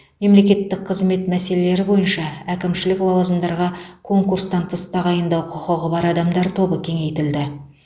мемлекеттік қызмет мәселелері бойынша әкімшілік лауазымдарға конкурстан тыс тағайындау құқығы бар адамдар тобы кеңейтілді